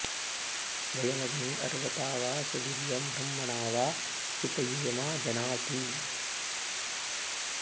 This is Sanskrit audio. वयमग्ने अर्वता वा सुवीर्यं ब्रह्मणा वा चितयेमा जनाँ अति